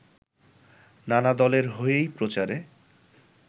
নানা দলের হয়েই প্রচারে